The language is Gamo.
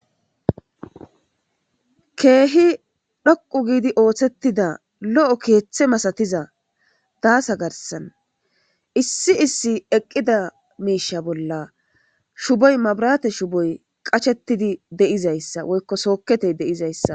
keehi dhoqu giidi ooththettida lo7o keeththe masatiza daasa garsan issi issi eqqida miisha bolla shuboy mabrate shuboy qachettidi de7izayssa woykko sooketey de7izayssa